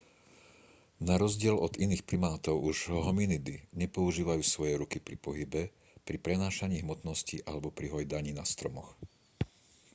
na rozdiel od iných primátov už hominidy nepoužívajú svoje ruky pri pohybe pri prenášaní hmotnosti alebo pri hojdaní na stromoch